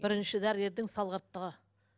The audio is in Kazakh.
бірінші дәрігердің салғырттығы